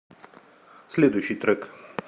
следующий трек